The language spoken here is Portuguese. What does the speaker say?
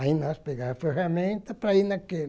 Aí nós pegava a ferramenta para ir naquele.